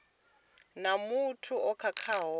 na muthu o khakhaho vha